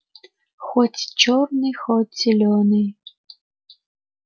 хоть чёрный хоть зелёный